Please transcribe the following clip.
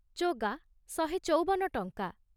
ଚୋଗା ଶହେ ଚୌବନ ଟଂକା